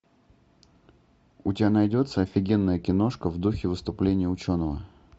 у тебя найдется офигенная киношка в духе выступления ученого